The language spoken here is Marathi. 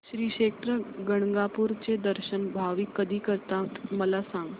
श्री क्षेत्र गाणगापूर चे दर्शन भाविक कधी करतात मला सांग